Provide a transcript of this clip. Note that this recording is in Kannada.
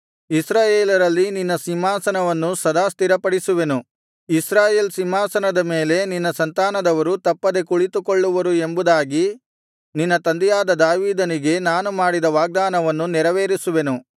ಇಸ್ರಾಯೇಲರಲ್ಲಿ ನಿನ್ನ ಸಿಂಹಾಸನವನ್ನು ಸದಾ ಸ್ಥಿರಪಡಿಸುವೆನು ಇಸ್ರಾಯೇಲ್ ಸಿಂಹಾಸನದ ಮೇಲೆ ನಿನ್ನ ಸಂತಾನದವರು ತಪ್ಪದೆ ಕುಳಿತುಕೊಳ್ಳುವರು ಎಂಬುದಾಗಿ ನಿನ್ನ ತಂದೆಯಾದ ದಾವೀದನಿಗೆ ನಾನು ಮಾಡಿದ ವಾಗ್ದಾನವನ್ನು ನೆರವೇರಿಸುವೆನು